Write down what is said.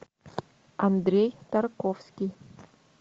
андрей тарковский